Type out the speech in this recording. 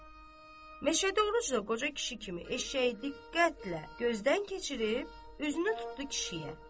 Məşədi Oruc da qoca kişi kimi eşşəyi diqqətlə gözdən keçirib üzünü tutdu kişiyə.